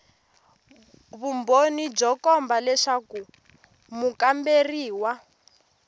vumbhoni byo komba leswaku mukamberiwa